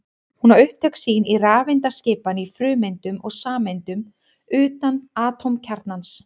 Hún á upptök sín í rafeindaskipan í frumeindum og sameindum utan atómkjarnans.